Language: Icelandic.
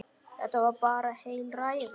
Þetta var bara heil ræða.